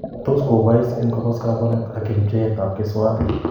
Tos kobais en kobos kabwanet ak en pchetab keswat.